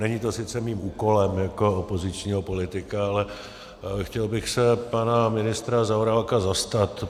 Není to sice mým úkolem jako opozičního politika, ale chtěl bych se pana ministra Zaorálka zastat.